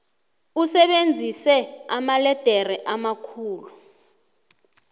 usebenzise amaledere amakhulu